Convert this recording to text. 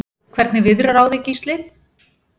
Hvernig viðrar á þig Gísli?